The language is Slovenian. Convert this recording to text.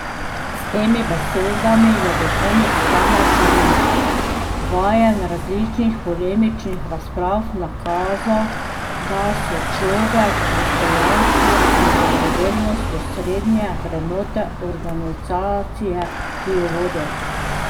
S temi besedami je duhovnik Stane Kerin, vajen različnih polemičnih razprav, nakazal, da so človek, dostojanstvo in dobrodelnost osrednje vrednote organizacije, ki jo vodi.